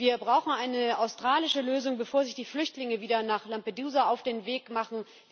Wir brauchen eine australische Lösung, bevor sich die Flüchtlinge wieder nach Lampedusa auf den Weg machen.